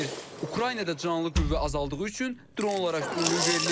Ukraynada canlı qüvvə azaldığı üçün dronlara üstünlük verilir.